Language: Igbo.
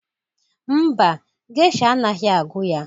Mba, gesha anaghị agụ ya